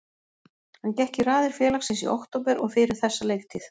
Hann gekk í raðir félagsins í október og fyrir þessa leiktíð.